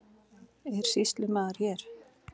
Er sýslumaður hér?